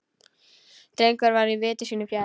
Drengur var viti sínu fjær.